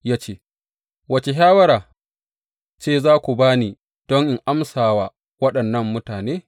Ya ce, Wace shawara ce za ku ba ni don in amsa wa waɗannan mutane?